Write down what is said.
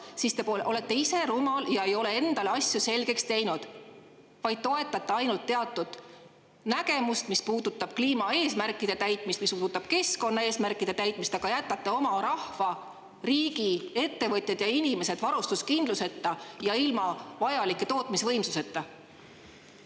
Siis te olete ise rumal ega ole endale asju selgeks teinud, vaid toetate ainult teatud nägemust, mis puudutab kliimaeesmärkide ja keskkonnaeesmärkide täitmist, aga jätate oma rahva, riigiettevõtted ja inimesed varustuskindluseta ja ilma vajaliku tootmisvõimsuseta.